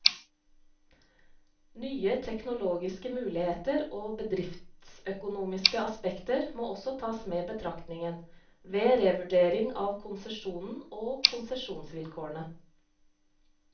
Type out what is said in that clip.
Nye teknologiske muligheter og bedriftsøkonomiske aspekter må også tas med i betraktningen, ved revurdering av konsesjonen og konsesjonsvilkårene.